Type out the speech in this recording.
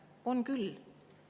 On küll.